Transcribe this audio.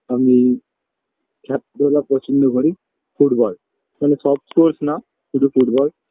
আমি খেলা ধুলা পছন্দ করি ফুটবল কিন্তু সব sports না শুধু ফুটবল